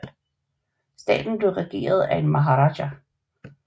Staten blev regeret af en maharaja